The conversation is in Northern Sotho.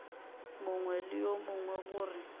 mongwe le yo mongwe gore